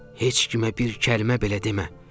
Heç kimə bir kəlmə belə demə.